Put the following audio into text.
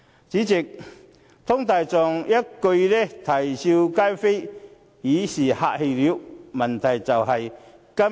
主席，湯大狀一句"啼笑皆非"已是客氣了。